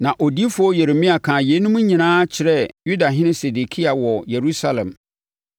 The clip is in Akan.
Na odiyifoɔ Yeremia kaa yeinom nyinaa kyerɛɛ Yudahene Sedekia wɔ Yerusalem,